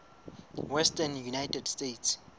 western united states